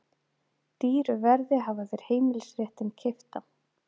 Dýru verði hafa þeir heimilisréttinn keyptan.